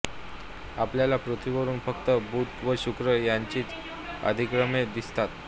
आपल्याला पृथ्वीवरून फक्त बुध व शुक्र यांचीच अधिक्रमणे दिसतात